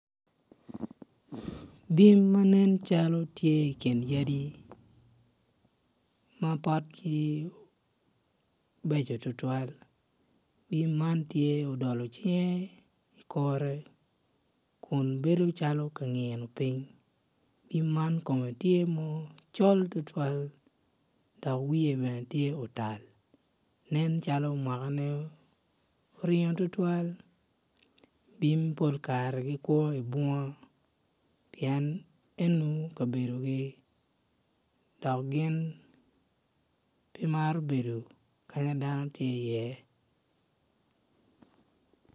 Bim ma nen tye i kin yadi ma potgi bejo tutwal bim man tye odolo cinge i kore kun bedo calo tye ka ngiyo piny bim man kome tye macol tutwal dok wiye bene tye otal nencalo mwakne oringo tutwal bim pol kare gikwo i bunga pien eno kabedogi dok gin pe maro bedo ka ma dano tye iye.